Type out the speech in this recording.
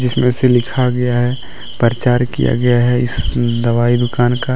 जिसमें से लिखा गया है प्रचार किया गया है इस दवाई दुकान का।